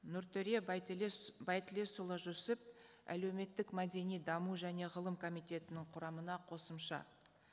нұртөре байтілесұлы жүсіп әлеуметтік мәдени даму және ғылым комитетінің құрамына қосымша